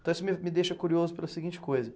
Então isso me me deixa curioso pela seguinte coisa.